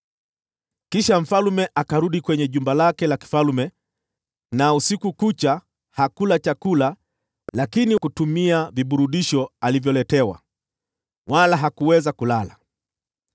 Kisha mfalme akarudi kwenye jumba lake la kifalme, naye usiku kucha hakula chakula wala kutumia viburudisho alivyoletewa. Lakini hakuweza kulala.